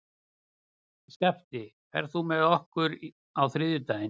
Skafti, ferð þú með okkur á þriðjudaginn?